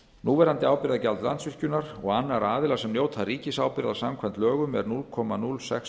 núverandi ábyrgðargjald landsvirkjunar og annarra aðila sem njóta ríkisábyrgðar samkvæmt lögum er núll komma núll sex